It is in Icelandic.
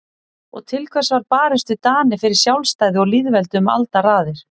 Og til hvers var barist við Dani fyrir sjálfstæði og lýðveldi um aldaraðir?